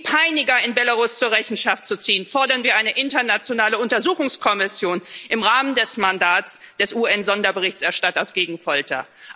Um die Peiniger in Belarus zur Rechenschaft zu ziehen, fordern wir eine internationale Untersuchungskommission im Rahmen des Mandats des UN Sonderberichterstatters gegen Folter.